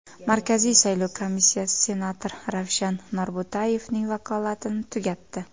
Markaziy saylov komissiyasi senator Ravshan Norbo‘tayevning vakolatini tugatdi.